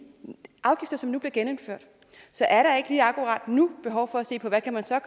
afgifter som nu bliver genindført så er der ikke lige akkurat nu behov for at se på hvad man så